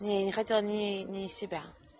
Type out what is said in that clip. не не хотела ни ни себя